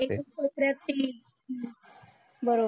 प्रति हा बरोबर